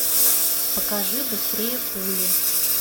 покажи быстрее пули